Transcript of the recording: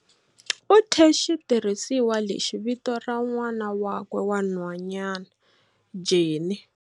U thye xitirhisiwa lexi vito ra n'wana wakwe wa nhwanyana Jenny.